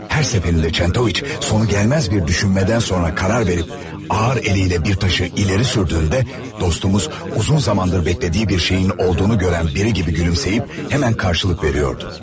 Hər səfərində Çentoviç sonu gəlməz bir düşünmədən sonra qərar verib ağır əliylə bir daşı irəli sürdüyündə, dostumuz uzun zamandır bəklədiyi bir şeyin olduğunu görən biri kimi gülümsəyib, həmən karşılık veriyordu.